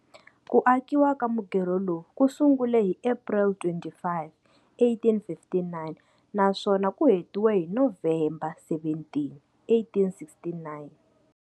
Ku akiwa ka mugerho lowu ku sungule hi April 25, 1859 naswona ku hetiwe hi November 17, 1869.